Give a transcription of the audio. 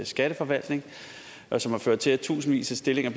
skatteforvaltning og som har ført til at tusindvis af stillinger